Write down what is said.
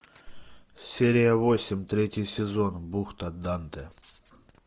серия восемь третий сезон бухта данте